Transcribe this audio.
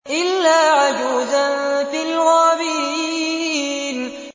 إِلَّا عَجُوزًا فِي الْغَابِرِينَ